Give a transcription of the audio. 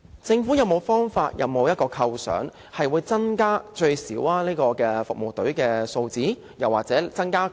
政府有沒有方法，有沒有構想，令這些服務隊的數字最少增加多少？